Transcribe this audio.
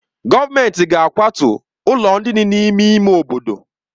Gọọmentị ga-akwatu ụlọ ndị dị n'ime ime obodo.